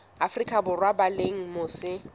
afrika borwa ba leng mose